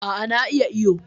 A' a na iya iwo.